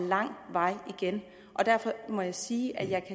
lang vej igen og derfor må jeg sige at jeg